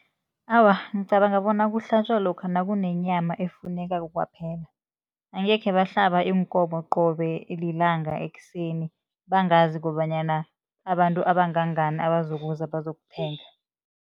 Awa, ngicabanga bona kuhlatjwa lokha nakunenyama efunekako kwaphela. Angekhe bahlaba iinkomo qobe lilanga ekuseni bangazi kobanyana babantu abangangani abazokuza bazokuthenga.